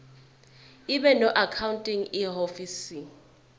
ibe noaccounting ihhovisir